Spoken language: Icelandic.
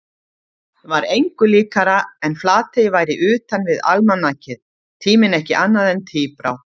Var engu líkara en Flatey væri utanvið almanakið, tíminn ekki annað en tíbrá.